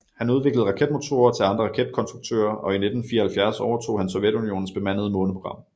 Han udviklede raketmotorer til andre raketkonstruktører og i 1974 overtog han Sovjetunionens bemandede måneprogram